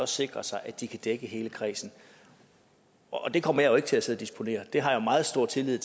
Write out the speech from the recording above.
sikre sig at de kan dække hele kredsen det kommer jeg jo ikke til at sidde og disponere det har jeg meget stor tillid